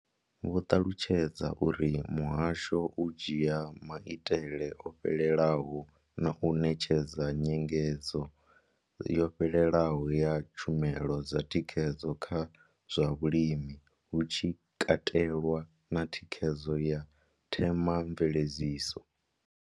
Vho ṱalutshedza uri muhasho u dzhia maitele o fhelelaho na u ṋetshedza nyengedzo yo fhelelaho ya tshumelo dza thikhedzo kha zwa vhulimi, hu tshi katelwa na thikhedzo ya themamveledziso.